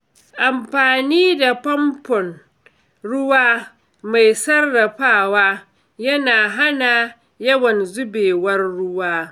Amfani da famfon ruwa mai sarrafawa yana hana yawan zubewar ruwa.